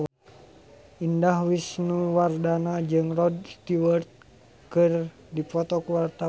Indah Wisnuwardana jeung Rod Stewart keur dipoto ku wartawan